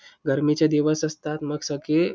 गरमीचे दिवस असतात मग सगळे